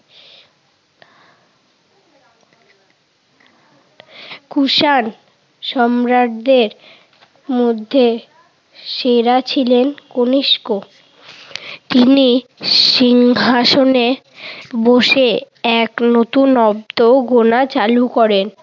কুষান সম্রাজ্ঞের মধ্যে সেরা ছিলেন কনিষ্ক। তিনি সিংহাসনে বসে েএক নতুন অব্দ গোনা চালু করেন।